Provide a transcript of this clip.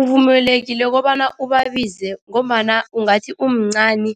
Uvumelekile kobana ubabize ngombana ungathi umncani